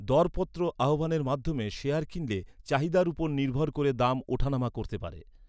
দরপত্র আহ্বানের মাধ্যমে শেয়ার কিনলে, চাহিদার ওপর নির্ভর করে দাম ওঠানামা করতে পারে।